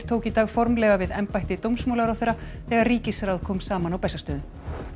tók í dag formlega við embætti dómsmálaráðherra þegar ríkisráð kom saman á Bessastöðum